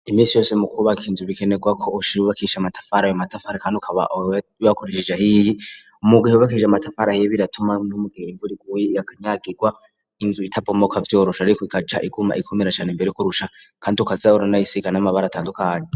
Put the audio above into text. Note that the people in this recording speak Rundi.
iminsi yose mukubaka inzu bikenerwa ko uyubakisha amatafara ayo matafari kandi akaba bakoresheje ahiye mugihe wubakishije amatafara ahiye biratuma no mugihe imvura iguye akanyagirwa inzu itabomoka vyoroshe ariko ikaca iguma ikomera cane imbere kurusha kandi ukaza uranayisiga n'amabara atandukanye